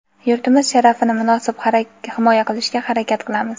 yurtimiz sharafini munosib himoya qilishga harakat qilamiz!.